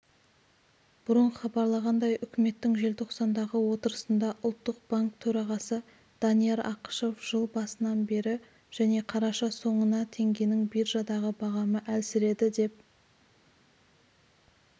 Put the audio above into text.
бұрын хабарланғандай үкіметтің желтоқсандағы отырысында ұлттық банк төрағасы данияр ақышев жыл басынан бері және қарашаның соңына теңгенің биржадағы бағамы әлсіреді деп